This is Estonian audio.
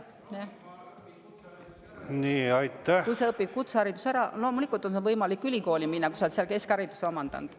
Kui sa kutsehariduse, siis loomulikult on võimalik ülikooli minna, kui sa oled seal ka keskhariduse omandanud.